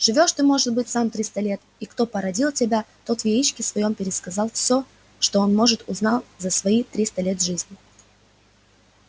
живёшь ты может быть сам триста лет и кто породил тебя тот в яичке своём пересказал всё что он может узнал за свои триста лет жизни